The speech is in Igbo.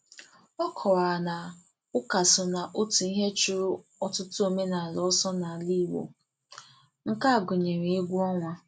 Ọ kọwara na ụka so na otu ihe chụrụ ọtụtụ omenala ọsọ n'ala Igbo, nke a gụnyere egwu ọnwa.